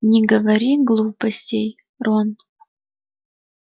не говори глупостей рон